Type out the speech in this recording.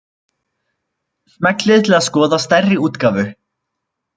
Smellið til að skoða stærri útgáfu.